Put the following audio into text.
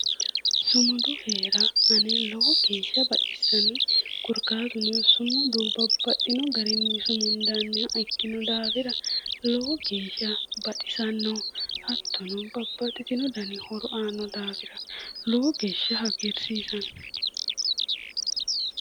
Sumudu heera ane lowo geeshsha baxissannoe korkaatuno sumudu babbaxxino garinni sumundanniha ikkino daafira lowo geeshsha baxisanno hattono babbaxxitino dani horo aanno daafira lowo geeshsha hagiirsiisanno